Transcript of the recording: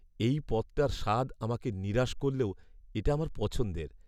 এই পদটার স্বাদ আমাকে নিরাশ করলেও এটা আমার পছন্দের।